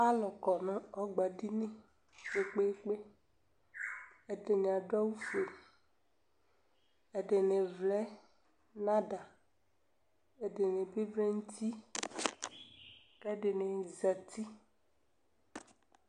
Alʋ kɔ nʋ ɔgbadini kpekpeekpe Ɛdini adʋ awʋ fue, ɛdini vlɛ nʋ ada, ɛdini bi vlɛ nʋ uti kɛdini zati